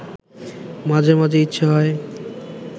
মাঝে মাঝে ইচ্ছে হয়